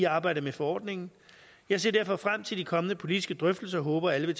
arbejdet med forordningen jeg ser derfor frem til de kommende politiske drøftelser og håber at alle vil